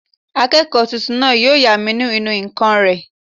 Akẹ́kọ̀ọ́ tuntun náà yóò yá mi ní ìnù-ǹkan rẹ̀